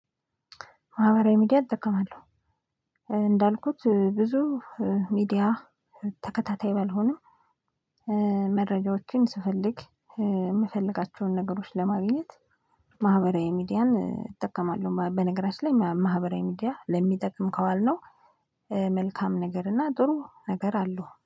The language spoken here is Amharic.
ማህበራዊ ሚዲያ እጠቀማለሁ እንዳልኩት ብዙ ሚዲያ ተከታታይ ባልሆንም መረጃዎችን ስፈልግ ምፈልጋቸውን ነገሮች ለማግኝት ማህበራዊ ሚዲያን እጠቀማለሁ በነገራችን ላይ ማህበራዊ ሚዲያ ለሚጠቅም ካዋልነው መልካም ነገር እና ጥሩ ነገር አለው።